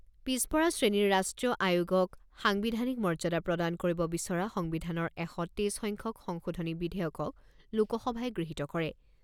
পিছপৰা শ্ৰেণীৰ ৰাষ্ট্ৰীয় আয়োগক সাংবিধানিক মৰ্যাদা প্ৰদান কৰিব বিচৰা সংবিধানৰ এশ তেইছ সংখ্যক সংশোধনী বিধেয়কক লোকসভাই গৃহীত কৰে।